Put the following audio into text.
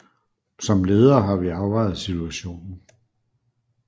Som ledere har vi afvejet situationen